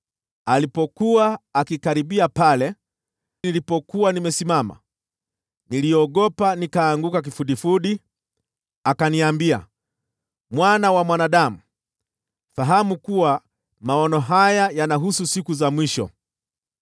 Alipokuwa akikaribia pale nilipokuwa nimesimama, niliogopa, nikaanguka kifudifudi. Akaniambia, “Mwana wa mwanadamu, fahamu kuwa maono haya yanahusu siku za mwisho.”